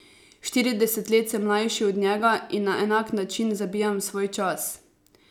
Štirideset let sem mlajši od njega in na enak način zabijam svoj čas.